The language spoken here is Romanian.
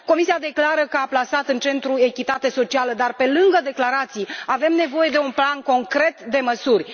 Comisia declară că a plasat în centru echitatea socială, dar, pe lângă declarații, avem nevoie de un plan concret de măsuri.